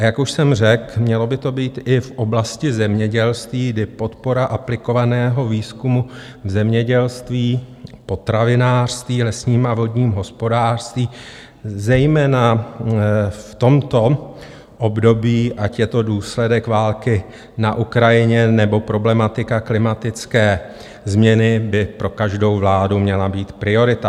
A jak už jsem řekl, mělo by to být i v oblasti zemědělství, kdy podpora aplikovaného výzkumu v zemědělství, potravinářství, lesním a vodním hospodářství, zejména v tomto období, ať je to důsledek války na Ukrajině, nebo problematika klimatické změny, by pro každou vládu měla být priorita.